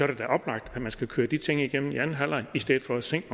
det da oplagt at man skal køre de ting igennem i anden halvleg i stedet for at sænke